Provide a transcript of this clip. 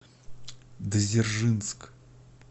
дзержинск